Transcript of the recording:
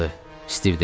Stiv dedi.